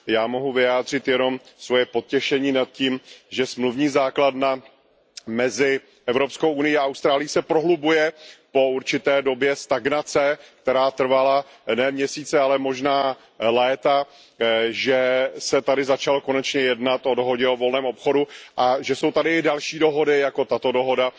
Já mohu vyjádřit jenom svoje potěšení nad tím, že smluvní základna mezi EU a Austrálií se prohlubuje po určité době stagnace, která trvala ne měsíce, ale možná léta, že se tady začalo konečně jednat o dohodě o volném obchodu a že jsou tady další dohody jako tato dohoda,